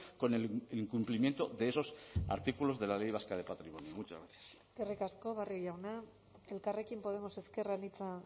con el incumplimiento de esos artículos de la ley vasca de patrimonio muchas gracias eskerrik asko barrio jauna elkarrekin podemos ezker anitza